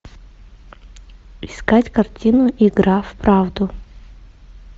искать картину игра в правду